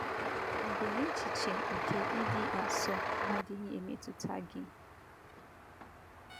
Ọ̀ bụ na echiche nke ịdị asọ adịghị emetụta gị?